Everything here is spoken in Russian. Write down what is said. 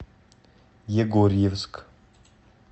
егорьевск